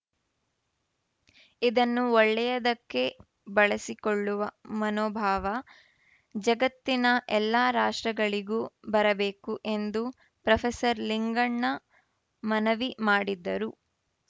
ಇದನ್ನು ಒಳ್ಳೆಯದಕ್ಕೆ ಬಳಸಿಕೊಳ್ಳುವ ಮನೋಭಾವ ಜಗತ್ತಿನ ಎಲ್ಲ ರಾಷ್ಟ್ರಗಳಿಗೂ ಬರಬೇಕು ಎಂದು ಪ್ರೊಫೆಸರ್ ಲಿಂಗಣ್ಣ ಮನವಿ ಮಾಡಿದರು